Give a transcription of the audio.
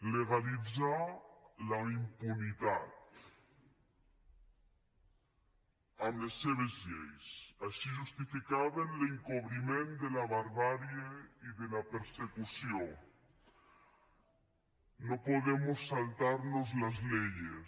legalitzar la impunitat amb les seves lleis així justificaven l’encobriment de la barbàrie i de la persecució no podemos saltarnos las leyes